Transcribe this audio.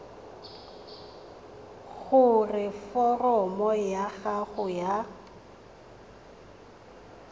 gore foromo ya gago ya